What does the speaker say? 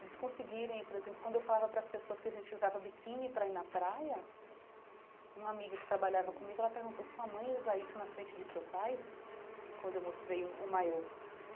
Eles conseguirem, por exemplo, quando eu falava para as pessoas que a gente usava biquíni para ir na praia, uma amiga que trabalhava comigo, ela perguntou sua mãe usa isso na frente de seu pai, quando eu mostrei o o maior.